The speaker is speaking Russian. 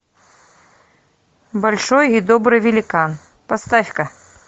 большой и добрый великан поставь ка